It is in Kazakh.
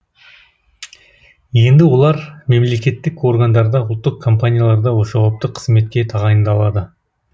енді олар мемлекеттік органдарда ұлттық компанияларда жауапты қызметке тағайындалады